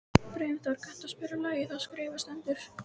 Brimþór, kanntu að spila lagið „Það skrifað stendur“?